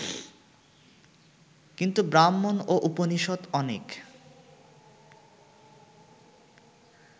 কিন্তু ব্রাহ্মণ ও উপনিষৎ অনেক